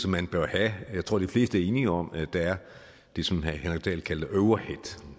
man bør have jeg tror de fleste er enige om at der er det som herre henrik dahl kaldte overhead